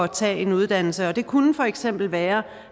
tage en uddannelse det kunne for eksempel være